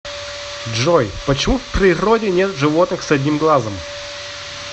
джой почему в природе нет животных с одним глазом